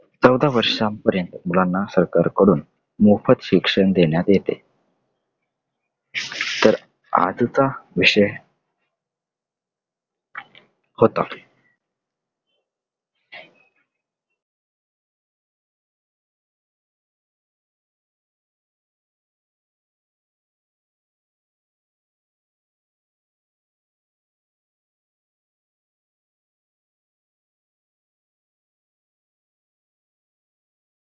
चौदा वर्षांपर्यंत मुलांना सरकार कडून मोफत शिक्षण देण्यात येते. तर आजचा विषय